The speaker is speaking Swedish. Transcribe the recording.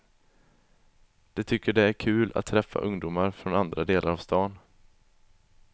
De tycker det är kul att träffa ungdomar från andra delar av stan.